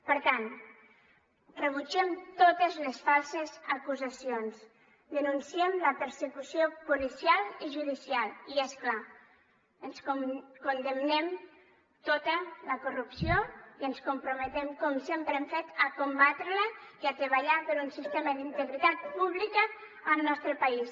per tant rebutgem totes les falses acusacions denunciem la persecució policial i judicial i és clar condemnem tota la corrupció i ens comprometem com sempre hem fet a combatre la i a treballar per un sistema d’integritat pública al nostre país